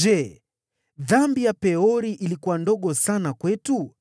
Je, dhambi ya Peori haikutosha? Hata ingawa kulikuja tauni juu ya kusanyiko la Bwana ,